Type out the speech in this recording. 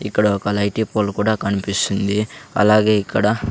ఇక్కడ ఒక light pole కూడా కన్పిస్తుంది అలాగే ఇక్కడ --